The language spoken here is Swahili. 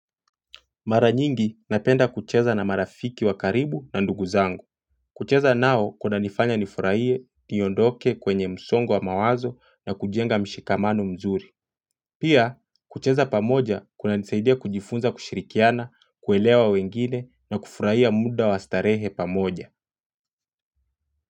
Mara nyingi napenda kucheza na marafiki wa karibu na ndugu zangu. Kucheza nao kunanifanya nifurahie, niondoke kwenye msongo wa mawazo na kujenga mshikamano mzuri. Pia, kucheza pamoja kuna nisaidia kujifunza kushirikiana, kuelewa wengine na kufurahia muda wa starehe pamoja.